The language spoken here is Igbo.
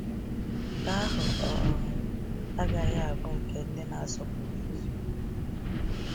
Nke ahụ um agaghị abụ nke ndị na-asọpụrụ eziokwu.